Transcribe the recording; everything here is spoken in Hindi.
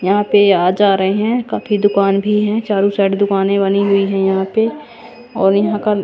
यहां पे आ जा रहे हैं काफी दुकान भी हैं चारों साइड दुकानें बनी हुई है यहां पे और यहां का--